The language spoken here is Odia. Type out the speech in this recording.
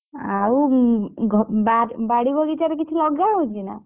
ଆଉ ଘ~ ବାଡ~ ବାଡି ବଗିଚାରେ କିଛି ଲଗା ହେଇଛି ନା?